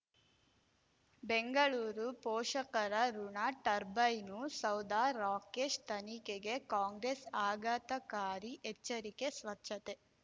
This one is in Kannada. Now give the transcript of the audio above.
ಬೆಂಗಳೂರು ಪೋಷಕರಋಣ ಟರ್ಬೈನು ಸೌಧ ರಾಕೇಶ್ ತನಿಖೆಗೆ ಕಾಂಗ್ರೆಸ್ ಆಘಾತಕಾರಿ ಎಚ್ಚರಿಕೆ ಸ್ವಚ್ಛತೆ